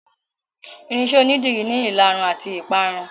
Irinṣẹ́ onídìrí ni ìlarun àti ìparun.